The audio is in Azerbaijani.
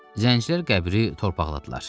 Zəncilər qəbri torpaqladılar.